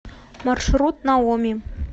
маршрут наоми